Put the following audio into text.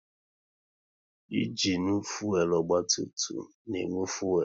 Ịnginu fuelu ọgba tum tum na-enwe fuelu